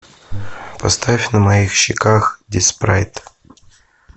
поставь на моих щеках диспрайт